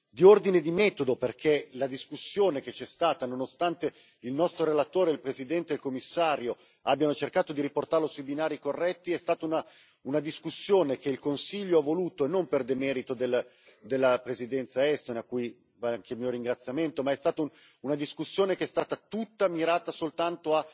Di ordine di metodo, perché la discussione che c'è stata, nonostante il nostro relatore, il Presidente e il Commissario abbiamo cercato di riportarla sui binari corretti, è stata una discussione che il Consiglio ha voluto e non per demerito della Presidenza estone, a cui va anche il mio ringraziamento e che è stata tutta mirata soltanto